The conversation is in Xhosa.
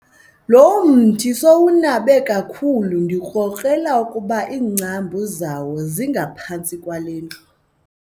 Lo mthi sowunabe kakhulu ndikrokrela ukuba iingcambu zawo zingaphantsi kwale ndlu.